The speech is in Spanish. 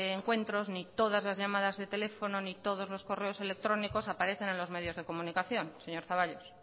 encuentros ni todas las llamadas de teléfono ni todos los correos electrónicos aparecen en los medios de comunicación señor zaballos